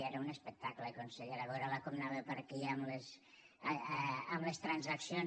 era un espectacle consellera veure la com anava per aquí amb les transaccions